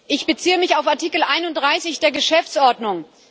Ich beziehe mich auf Artikel 31 der Geschäftsordnung.